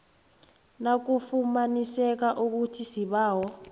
nakufumaniseka ukuthi isibawo